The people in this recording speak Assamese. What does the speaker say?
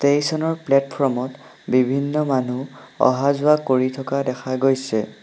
ষ্টেচনৰ প্লেটফ্ৰমত বিভিন্ন মানুহ অহা-যোৱা কৰি থকা দেখা গৈছে।